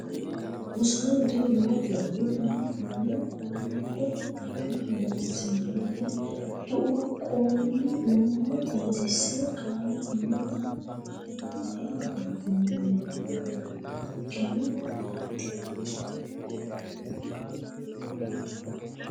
Rosaano tini waajo ado, hanni konne qoonqote Taqa Loossinanni tuqqonni nooha xaadise qaale Hanni xa kayinni aleenni loonsummo nabbawannonkehu ayeeti?